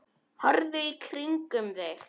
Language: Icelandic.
Horfðu í kringum þig!